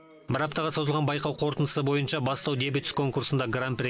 бір аптаға созылған байқау қорытындысы бойынша бастау дебют конкурсында гран при